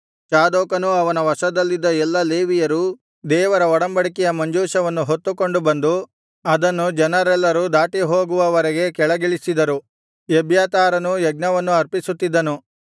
ಚಾದೋಕನೂ ಅವನ ವಶದಲ್ಲಿದ್ದ ಎಲ್ಲಾ ಲೇವಿಯರೂ ದೇವರ ಒಡಂಬಡಿಕೆಯ ಮಂಜೂಷವನ್ನು ಹೊತ್ತುಕೊಂಡು ಬಂದು ಅದನ್ನು ಜನರೆಲ್ಲರೂ ದಾಟಿಹೋಗುವವರೆಗೆ ಕೆಳಗಿಳಿಸಿದರು ಎಬ್ಯಾತಾರನೂ ಯಜ್ಞವನ್ನು ಅರ್ಪಿಸುತ್ತಿದ್ದನು